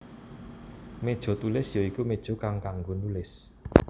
Méja Tulis ya iku méja kang kanggo nulis